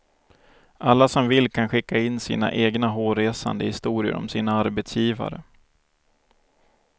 Alla som vill kan skicka in sina egna hårresande historier om sina arbetsgivare.